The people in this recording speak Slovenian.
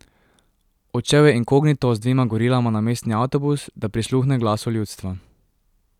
Odšel je inkognito z dvema gorilama na mestni avtobus, da prisluhne glasu ljudstva.